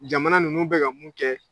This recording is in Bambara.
Jamana ninnu bɛ ka mun kɛ